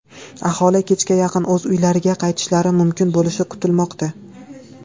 Aholi kechga yaqin o‘z uylariga qaytishlari mumkin bo‘lishi kutilmoqda.